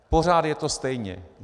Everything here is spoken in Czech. Pořád je to stejné.